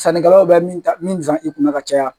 Sannikɛlaw bɛ min san i kunna ka caya